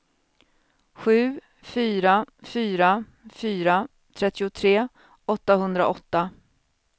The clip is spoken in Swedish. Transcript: sju fyra fyra fyra trettiotre åttahundraåtta